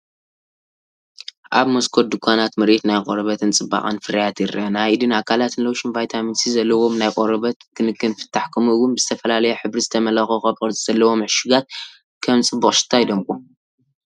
ኣብ መስኮት ድኳናት ምርኢት ናይ ቆርበትን ጽባቐን ፍርያት ይርአ። ናይ ኢድን ኣካላትን ሎሽን፡ ቪታሚን ሲ ዘለዎም ናይ ቆርበት ክንክን ፍታሕ፡ ከምኡ’ውን ብዝተፈላለየ ሕብሪ ዝተመልአ ኮኾብ ቅርጺ ዘለዎም ዕሹጋት ከም ጽቡቕ ሽታ ይደምቁ።